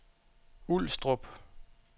Ulstrup